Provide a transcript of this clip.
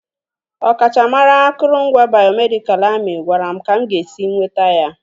Ọkachamara akụrụngwa bayomedikalụ amị gwara m ka m ga-esi nweta ya.